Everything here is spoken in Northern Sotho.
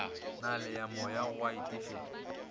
na le moyawa go itefetša